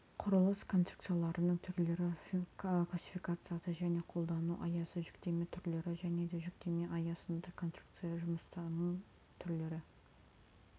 құрылыс конструкцияларының түрлері классификациясы және қолдану аясы жүктеме түрлері және де жүктеме астында конструкция жұмысының түрлері